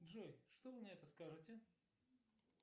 джой что вы на это скажете